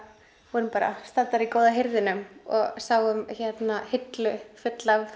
vorum í góða hirðinum og sáum hillu fulla af